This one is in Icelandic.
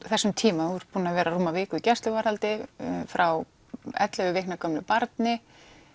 þessum tíma þú ert búin að vera rúma viku í gæsluvarðhaldi frá ellefu vikna gömlu barni